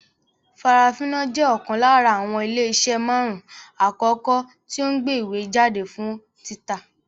Farafina jẹ́ ọ̀kan lára àwọn ilé iṣẹ́ marun-un akoko tí o ń gbé ìwé jáde fún títa